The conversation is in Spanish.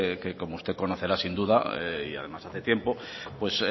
que como usted conocerá sin duda y además hace tiempo pues